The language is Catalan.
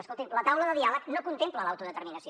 escolti’m la taula de diàleg no contempla l’autodeterminació